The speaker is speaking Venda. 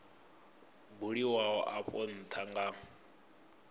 buliwaho afho ntha a nga